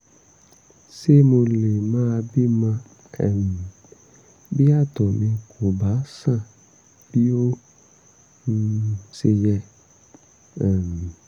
ṣé mo lè má bímọ um bí àtọ̀ mi kò bá ṣàn bí ó um ṣe yẹ? um